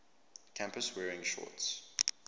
campus wearing shorts